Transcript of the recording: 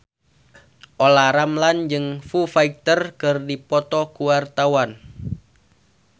Olla Ramlan jeung Foo Fighter keur dipoto ku wartawan